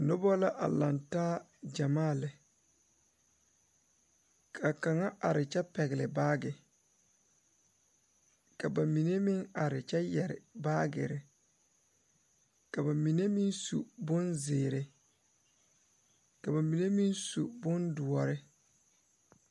Noba la a laŋ taa gyamaa lɛ ka kaŋa are kyɛ pɛgle baage ka ba mine meŋ are kyɛ yɛre baagere ka ba mine meŋ su bonzeere ka ba mine meŋ su bondoɔre.